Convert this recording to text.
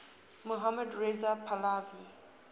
mohammad reza pahlavi